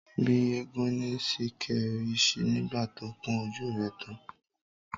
Bí eégún ni Sìkẹ́ rí nígbà tó kún ojú rẹ tán.